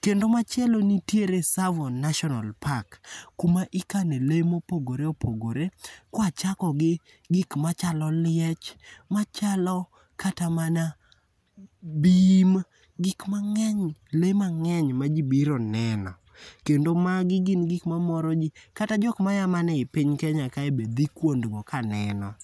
kendo machielo nitiere tsavo national park kuma ikane le ma opogore opogore kuachako gi gik machalo liech machalo kata mana bim, gik mang'eny lee mang'eny ma ji biro neno kendo magi gin gik mamoro ji jkata jok maya mana ei piny kenya kae bende dhi kuond go kaneno